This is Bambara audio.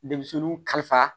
Denmisɛnninw kalifa